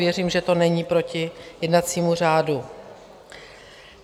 Věřím, že to není proti jednacímu řádu.